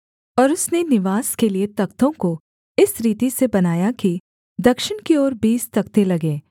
और उसने निवास के लिये तख्तों को इस रीति से बनाया कि दक्षिण की ओर बीस तख्ते लगे